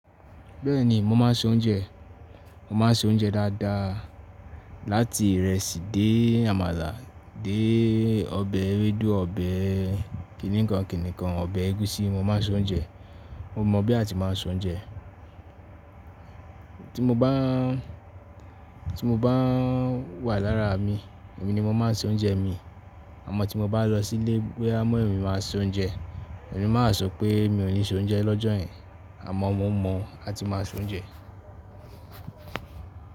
Bẹ́ẹ̀ni, mo máa ń se oúnjẹ. Mo máa ń se oúnjẹ dáadáa láti ìrẹsì dé àmàlà, dé ọbẹ̀ ewédú, ọbẹ̀ kìnìkan kìnìkan, ọbẹ̀ ẹ̀gúsí mo máa ń se oúnjẹ. Mo mọ̀ bí a ti máa ń se oúnjẹ. Tí mo bá, tí mo bá wà lára mi, èmi ni mo máa ń se oúnjẹ mi. Àmọ́ tí mo bá lọ sí ilé pé a mọ̀inmi máa se oúnjẹ, èmi máa sọ pé mi ò ní se oúnjẹ lọ́jọ́ yẹn. Àmọ́ mo mọ̀ a ti máa se oúnjẹ.